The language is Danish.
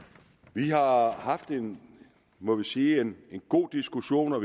vi har haft en må vi sige god diskussion og